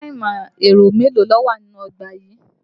Yàrá ìmọ̀-ẹ̀rọ mélòó ló wà nínú ọgbà yìí?